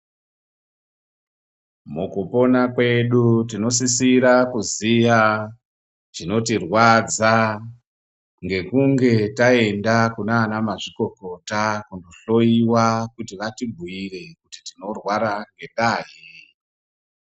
Mukupona kwedu tinosisira kuziya chinotirwadza ngekunge taenda kunaana mazvikokota kohloyiwa kuti vatibhuire kuti tinorwara ngendaa yei.